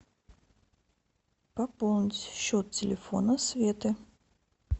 пополнить счет телефона светы